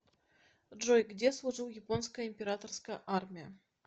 джой где служил японская императорская армия